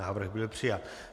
Návrh byl přijat.